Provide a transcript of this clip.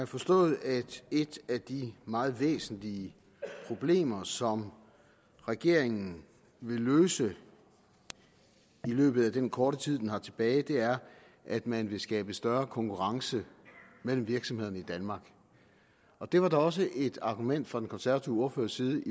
forstået at et af de meget væsentlige problemer som regeringen vil løse i løbet af den korte tid den har tilbage er at man vil skabe større konkurrence mellem virksomhederne i danmark og det var da også et argument fra den konservative ordførers side